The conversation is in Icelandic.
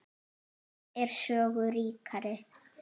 Sjón er sögu ríkari!